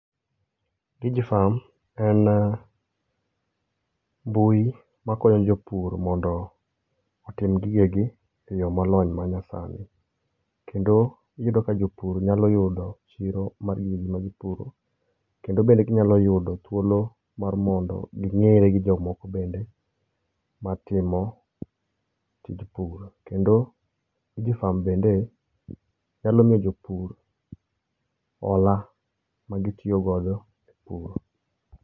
Digi farm en mbui ma konyo jo pur mondo otim gigegi e yo ma olony ma nya sani kendo iyudo ka jo pur nyalo yudo chiro mar gima gi puro kendo gi nyalo yudo thuolo mar mondo gi ngere gi jo moko bende ma timo tij puro kendo Digi farm bende nyalo miyo jo pur hola ma gi tiyo go e puro.